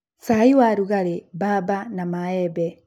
cai, warungariũ, bamba na maembe.